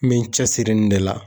N be n cɛsiri nin de la.